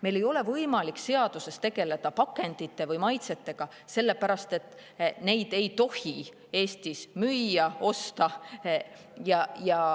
Meil ei ole võimalik seaduses tegeleda pakendite või maitsetega, sellepärast et neid ei tohi Eestis üldse müüa ega osta.